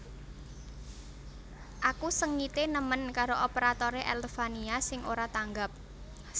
Aku sengite nemen karo operatore Elevania sing ora tanggap